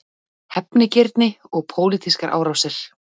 Hefnigirni og pólitískar árásir